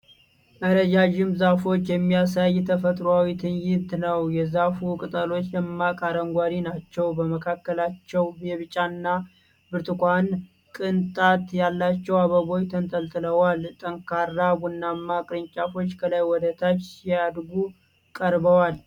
ረጃጅም ዛፎችን የሚያሳይ ተፈጥሯዊ ትዕይንት ነው። የዛፉ ቅጠሎች ደማቅ አረንጓዴ ናቸው። በመካከላቸው የቢጫና ብርቱካን ቅንጣት ያላቸው አበቦች ተንጠልጥለዋል። ጠንካራ ቡናማ ቅርንጫፎች ከላይ ወደ ታች ሲያድጉ ቀርበዋል።